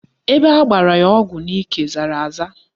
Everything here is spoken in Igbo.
Ebe agbara ya ọgwụ n'ike zara aza